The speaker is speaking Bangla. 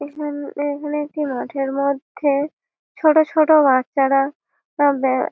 এখান এখানে একটি মাঠের মধ্যেএ ছোট ছোট বাচ্চারা তাদের--